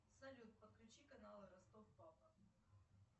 салют подключи каналы ростов папа